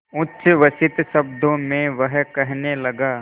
उच्छ्वसित शब्दों में वह कहने लगा